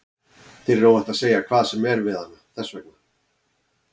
Þér er óhætt að segja hvað sem er við hana, þess vegna.